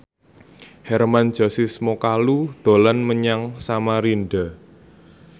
Hermann Josis Mokalu dolan menyang Samarinda